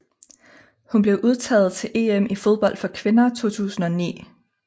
Hun blev udtaget til EM i fodbold for kvinder 2009